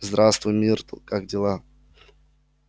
здравствуй миртл как дела